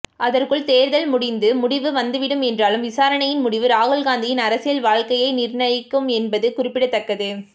அதற்குள் தேர்தல் முடிந்து முடிவும் வந்துவிடும் என்றாலும் விசாரணையின் முடிவு ராகுல்காந்தியின் அரசியல் வாழ்க்கையை நிர்ணயிக்கும் என்பது குறிப்பிடத்தக்கது